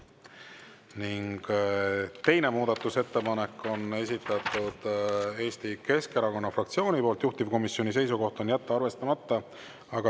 Ning teise muudatusettepaneku on esitanud Eesti Keskerakonna fraktsioon, juhtivkomisjoni seisukoht on jätta see arvestamata.